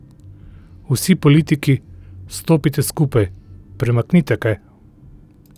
Vsi politiki, stopite skupaj, premaknite kaj!